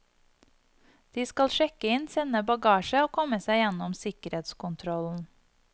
De skal sjekke inn, sende bagasje, og komme seg gjennom sikkerhetskontrollen.